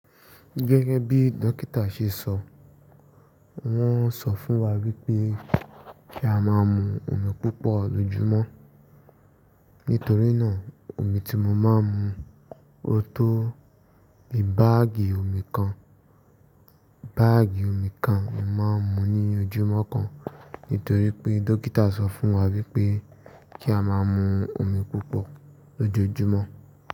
Gẹ́gẹ́ bí dókítà ṣe sọ, wọ́n sọ fún wa wípé kí a máa ń mu omi púpọ̀ lójúmọ́. Nítorí náà, omi tí mo máa ń mu, ó tó bì báàgì òmí kàn. Bààgì omi kan ni màá ń mu ní ojúmọ́ kan, nítorí pé dókítà sọ fún wa wípé kí a máa ń mu omi púpọ̀ lójoojúmọ́.